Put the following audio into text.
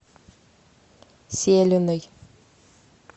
селиной